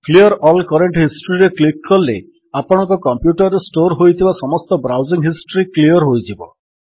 clear all current historyରେ click କଲେ ଆପଣଙ୍କ କମ୍ପ୍ୟୁଟର୍ ରେ ଷ୍ଟୋର୍ ହୋଇଥିବା ସମସ୍ତ ବ୍ରାଉଜିଙ୍ଗ୍ ହିଷ୍ଟ୍ରୀ କ୍ଲିଅର୍ ହୋଇଯିବ